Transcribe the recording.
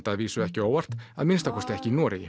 að vísu ekki á óvart að minnsta kosti ekki í Noregi